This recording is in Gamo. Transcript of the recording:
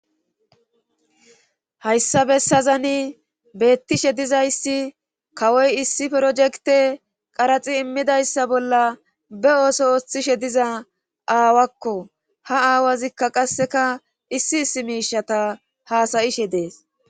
hayssa bessazani beettishe dizayssi kawoy issi projekte qaraxi immidayssa bolla be ooso ooththishe diza aawakko ha aawazikka qasseka issi issi miishata haasayishe dees